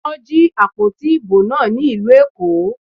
Wọ́n jí àpótí ìbò náà ní ìlú Èkó.